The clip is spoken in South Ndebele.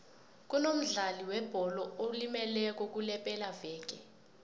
kunomdlali webholo olimeleko kulepelaveke